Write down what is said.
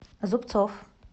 зубцов